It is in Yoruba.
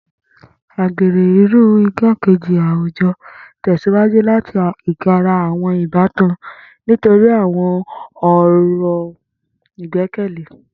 Agbere, iru igbakeji awujọ, tẹsiwaju lati igara awọn ibatan nitori awọn ọran igbẹkẹle.